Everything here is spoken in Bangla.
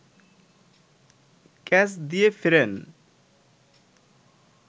ক্যাচ দিয়ে ফেরেন